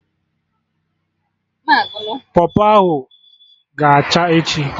Pọpọ ahụ ga-acha echi